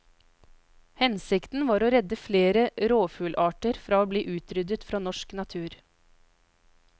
Hensikten var å redde flere rovfuglarter fra å bli utryddet fra norsk natur.